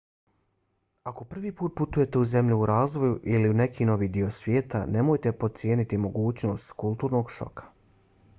ako prvi put putujete u zemlju u razvoju ili u neki novi dio svijeta nemojte podcijeniti mogućnost kulturnog šoka